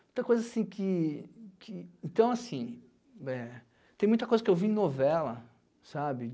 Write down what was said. Muita coisa, assim, que que... Então, assim... Tem muita coisa que eu vi em novela, sabe?